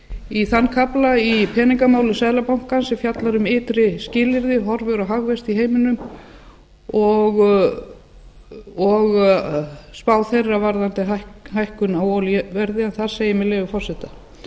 í þann kafla í peningamálum seðlabankans sem fjallar um ytri skilyrði horfur og hagvexti í heiminum og spá þeirra varðandi hækkun á olíuverði þar segir með leyfi forseta